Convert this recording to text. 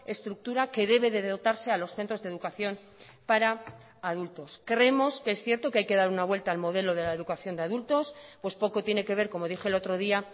estructura que debe de dotarse a los centros de educación para adultos creemos que es cierto que hay que dar una vuelta al modelo de la educación de adultos pues poco tiene que ver como dije el otro día